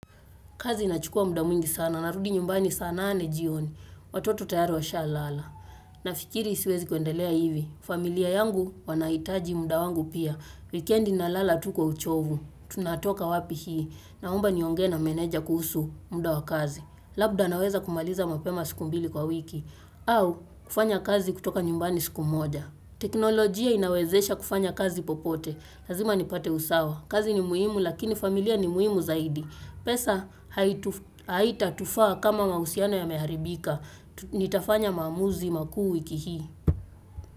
Kazi inachukua muda mwingi sana narudi nyumbani saa nane jioni. Watoto tayari washalala. Nafikiri siwezi kuendelea hivi. Familia yangu wanahitaji muda wangu pia. Wikendi nalala tu kwa uchovu. Tunatoka wapi hii. Naomba niongee na meneja kuhusu muda wa kazi. Labda naweza kumaliza mapema siku mbili kwa wiki. Au kufanya kazi kutoka nyumbani siku moja. Teknolojia inawezesha kufanya kazi popote. Lazima nipate usawa. Kazi ni muhimu lakini familia ni muhimu zaidi. Pesa haitatufaa kama mahusiano yameharibika. Nitafanya maamuzi makuu wiki hii.